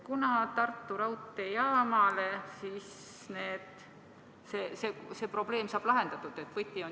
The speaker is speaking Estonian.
Kunas see probleem saab lahendatud?